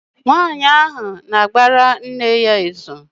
Nwa ahụ na-agbara nne ya izù.